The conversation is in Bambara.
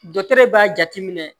Dɔtɛri b'a jateminɛ